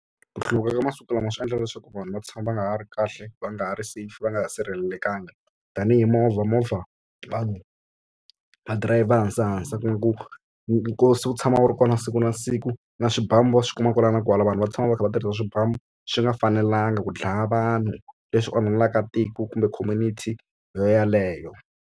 Ku hluvuka ka masiku lama swi endla leswaku vanhu va tshama va nga ha ri kahle va nga ha ri safe va nga sirhelelekangiki tanihi movha movha vanhu va dirayivha hansahansa ku nga ku nkosi wu tshama wu ri kona siku na siku na swibamu va swi kuma kwala na kwala vanhu va tshama va kha va tirhisa swibamu swi nga fanelanga ku dlaya vanhu leswi onhelaka tiko kumbe community yeleyo.